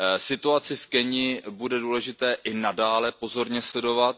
Situaci v Keni bude důležité i nadále pozorně sledovat.